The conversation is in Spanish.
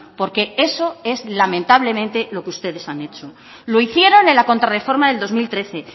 porque eso es lamentablemente lo que ustedes han hecho lo hicieron en la contrarreforma del dos mil trece